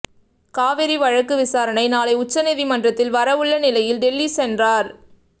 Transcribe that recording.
காவிரி வழக்கு விசாரணை நாளை உச்ச நீதிமன்றத்தில் வர உள்ள நிலையில் டெல்லி சென்றார்